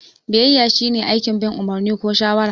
Biyayya shine aikin bin umarni ko shawara.